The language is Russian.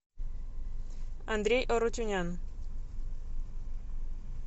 андрей арутюнян